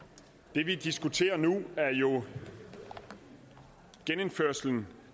det vi diskuterer nu er jo genindførelsen